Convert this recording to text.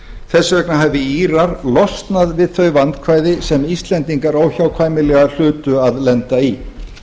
vegna hafi írar losnað við fari vandkvæði sem íslendingar óhjákvæmilega hlutu að lenda í